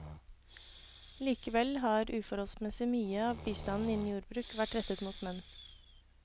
Likevel har uforholdsmessig mye av bistanden innen jordbruk vært rettet mot menn.